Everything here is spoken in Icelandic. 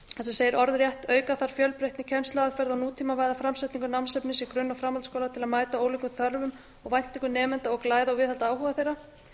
sem segir orðrétt auka þarf fjölbreytni kennsluaðferða og nútímavæða framsetningu námsefnis í grunn og framhaldsskóla til að mæta ólíkum þörfum og væntingum nemenda og glæða og viðhalda áhuga þeirra